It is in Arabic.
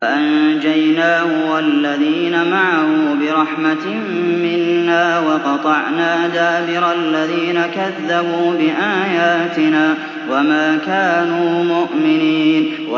فَأَنجَيْنَاهُ وَالَّذِينَ مَعَهُ بِرَحْمَةٍ مِّنَّا وَقَطَعْنَا دَابِرَ الَّذِينَ كَذَّبُوا بِآيَاتِنَا ۖ وَمَا كَانُوا مُؤْمِنِينَ